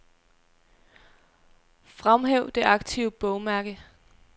Fremhæv det aktive bogmærke.